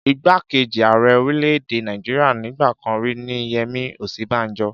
Ìgbákejì ààrẹ orílẹ̀-èdè Nàìjíríà nígbà kan rí ní Yemi Osinbajo.